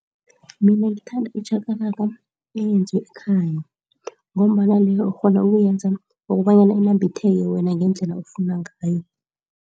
Mina ngithanda itjhakalaka eyenziwe ekhaya ngombana leyo ukghona ukuyenza kobanyana inambitheke wena ngendlela ofuna ngayo.